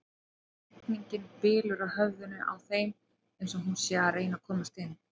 Rigningin bylur á höfðinu á þeim eins og hún sé að reyna að komast inn.